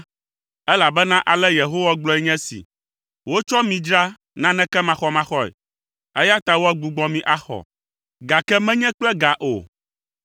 Elabena ale Yehowa gblɔe nye esi, “Wotsɔ mi dzra naneke maxɔmaxɔe, eya ta woagbugbɔ mi axɔ, gake menye kple ga o.”